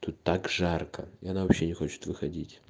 тут так жарко она вообще не хочет выходить